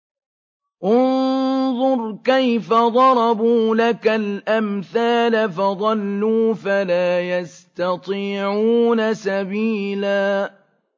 انظُرْ كَيْفَ ضَرَبُوا لَكَ الْأَمْثَالَ فَضَلُّوا فَلَا يَسْتَطِيعُونَ سَبِيلًا